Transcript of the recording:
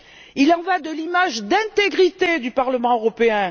Il en va de l'image d'intégrité du Parlement européen.